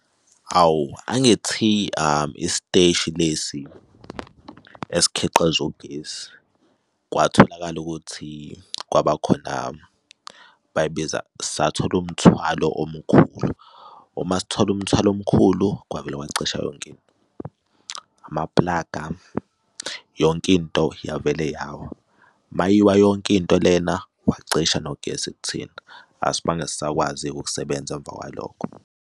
Hawu, angithi isiteshi lesi esikhiqiza ugesi kwatholakala ukuthi kwabakhona bayibiza, sathola umthwalo omkhulu. Uma sithola umthwalo omkhulu kwavele kwacisha yonke into, amapulaga yonke into yavele yawa. Uma yiwa yonke into lena wacishe nogesi kuthina, asibange sisakwazi-ke ukusebenza emva kwalokho.